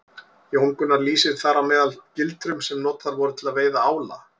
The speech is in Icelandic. Jón Gunnar lýsir þar meðal annars gildrum sem notaðar voru til að veiða ála.